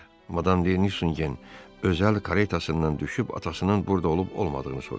Madam Deni Nusin gen özəl koretasından düşüb atasının burada olub olmadığını soruşdu.